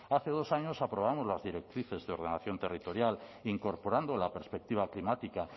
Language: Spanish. hace dos años aprobamos las directrices de ordenación territorial incorporando la perspectiva climática